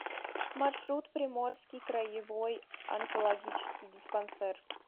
маршрут приморский краевой онкологический диспансер